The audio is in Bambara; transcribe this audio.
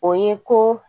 O ye ko